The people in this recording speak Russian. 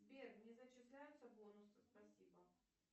сбер не зачисляются бонусы спасибо